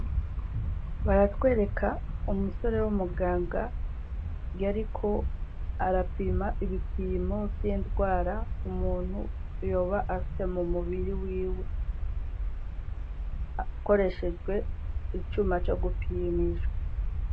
Baratwereka umusore w'umuganga yariko arapima ibipimo vy'indwara umuntu yoba afise mu mubiri wiwe, hakoreshejwe icuma co gupimisha.